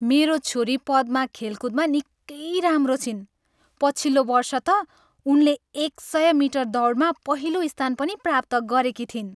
मेरो छोरी पद्मा खेलकुदमा निकै राम्रो छिन्। पछिल्लो वर्ष त उनले एक सय मिटर दौडमा पहिलो स्थान पनि प्राप्त गरेकी थिइन्।